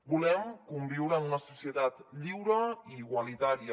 volem conviure en una societat lliure i igualitària